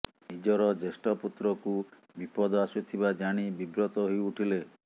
ନିଜର ଜୈଷ୍ଠ ପୁତ୍ରକୁ ବିପଦ ଆସୁଥିବା ଜାଣି ବିବ୍ରତ ହୋଇ ଉଠିଲେ